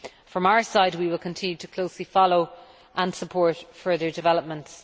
From our side, we will continue to closely follow and support further developments.